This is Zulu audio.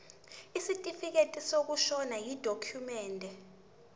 isitifikedi sokushona yidokhumende